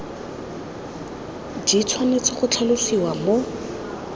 di tshwanetse go tlhalosiwa mo